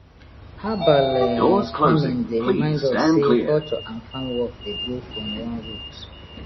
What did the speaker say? herbal um farming dey remind us sey culture and farm work dey grow from one root